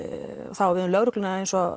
það á við um lögregluna eins og